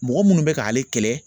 Mɔgɔ munnu bɛ k'ale kɛlɛ